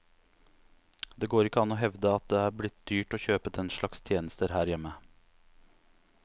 Det går ikke an å hevde at det er blitt dyrt å kjøpe den slags tjenester her hjemme.